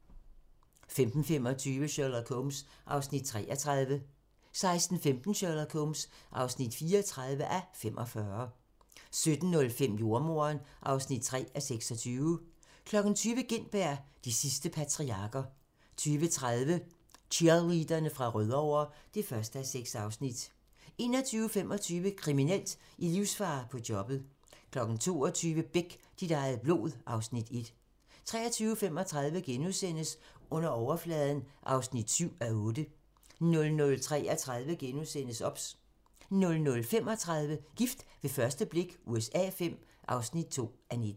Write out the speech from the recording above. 15:25: Sherlock Holmes (33:45) 16:15: Sherlock Holmes (34:45) 17:05: Jordemoderen (3:26) 20:00: Gintberg - de sidste patriarker 20:30: Cheerleaderne fra Rødovre (1:6) 21:25: Kriminelt: I livsfare på jobbet 22:00: Beck - dit eget blod (Afs. 1) 23:35: Under overfladen (7:8)* 00:33: OBS * 00:35: Gift ved første blik USA V (2:19)